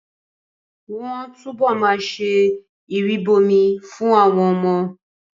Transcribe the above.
Wọ́n á túbọ̀ ma ṣe ìrìbọmi fún àwọn ọmọ